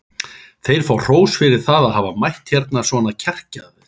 Þeir fá hrós fyrir það að hafa mætt hérna svona kjarkaðir.